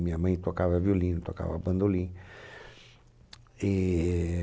Minha mãe tocava violino, tocava bandolim. E